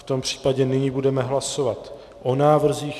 V tom případě nyní budeme hlasovat o návrzích.